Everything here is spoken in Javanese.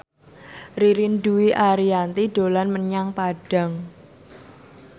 Ririn Dwi Ariyanti dolan menyang Padang